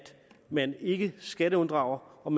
man ikke skatteunddrager og